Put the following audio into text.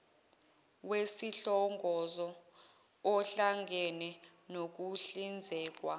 wesihlongozo ohlangene nokuhlinzekwa